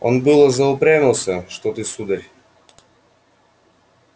он было заупрямился что ты сударь